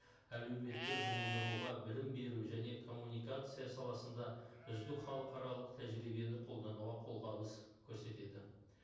әлеуметтік жұмылдыруға білім беру және коммуникация саласында үздік халықаралық тәжірибені қолдануға қолғабыс көрсетеді